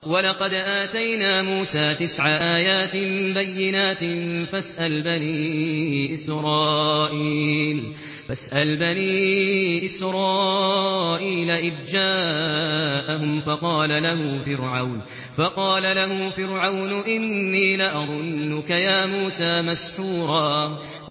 وَلَقَدْ آتَيْنَا مُوسَىٰ تِسْعَ آيَاتٍ بَيِّنَاتٍ ۖ فَاسْأَلْ بَنِي إِسْرَائِيلَ إِذْ جَاءَهُمْ فَقَالَ لَهُ فِرْعَوْنُ إِنِّي لَأَظُنُّكَ يَا مُوسَىٰ مَسْحُورًا